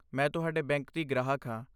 ਮੈਂ ਤੁਹਾਡੇ ਬੈਂਕ ਦੀ ਗ੍ਰਾਹਕ ਹਾਂ।